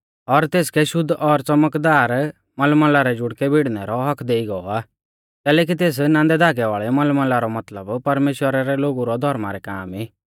और तेसकै शुद्ध और च़मकदार मईन मलमला रै जुड़कै भिड़नै रौ हक्क देइ गौ आ कैलैकि तेस नांदै धागै वाल़ै मलमला रौ मतलब परमेश्‍वरा रै लोगु रै धौर्मा रै काम ई